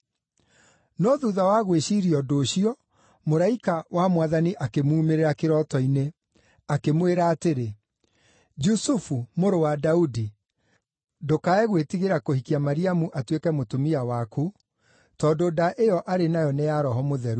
No thuutha wa gwĩciiria ũndũ ũcio, mũraika wa Mwathani akĩmuumĩrĩra kĩroto-inĩ, akĩmwĩra atĩrĩ, “Jusufu, mũrũ wa Daudi, ndũkae gwĩtigĩra kũhikia Mariamu atuĩke mũtumia waku, tondũ nda ĩyo arĩ nayo nĩ ya Roho Mũtheru.